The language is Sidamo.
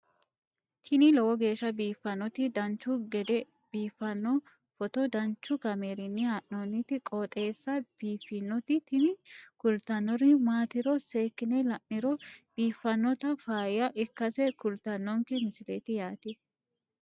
tini lowo geeshsha biiffannoti dancha gede biiffanno footo danchu kaameerinni haa'noonniti qooxeessa biiffannoti tini kultannori maatiro seekkine la'niro biiffannota faayya ikkase kultannoke misileeti yaate